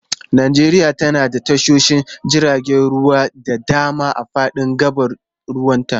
Najeriya tana da tashoshin jiragen ruwa da dama a fadin gabar ruwanta.